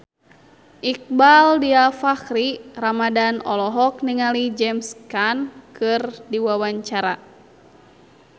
Iqbaal Dhiafakhri Ramadhan olohok ningali James Caan keur diwawancara